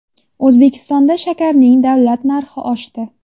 O‘zbekistonda shakarning davlat narxi oshdi .